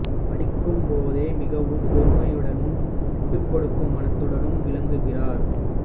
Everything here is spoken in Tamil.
படிக்கும் போதே மிகவும் பொறுமையுடனும் விட்டுக் கொடுக்கும் மனத்துடனும் விளங்கினார்